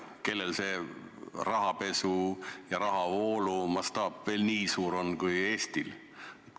Kellel see rahapesu ja rahavoolu mastaap veel nii suur on kui Eestil?